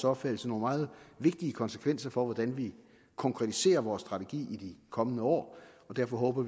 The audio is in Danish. opfattelse nogle meget vigtige konsekvenser for hvordan vi konkretiserer vores strategi i de kommende år og derfor håber